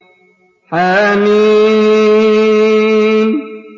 حم